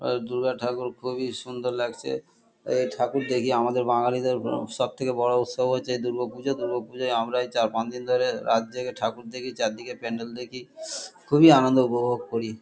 আ দুর্গা ঠাকুর খুবই সুন্দর লাগছে। এই ঠাকুর দেখি আমাদের বাঙালিদের আ সবথেকে বড় উৎসব হচ্ছে এই দুর্গোপুজো। দুর্গোপুজোয় আমরা এই চার-পাঁচ দিন ধরে রাত জেগে ঠাকুর দেখি। চারদিকে প্যান্ডেল দেখি খুবই আনন্দ উপভোগ করি।